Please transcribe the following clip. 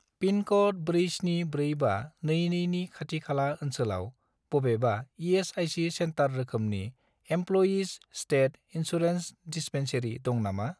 पिनक'ड 474522 नि खाथि खाला ओनसोलाव बबेबा इ.एस.आइ.सि. सेन्टार रोखोमनि इमप्ल'यिज स्टेट इन्सुरेन्स दिस्पेन्सेरि दं नामा?